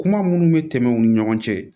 Kuma minnu bɛ tɛmɛ u ni ɲɔgɔn cɛ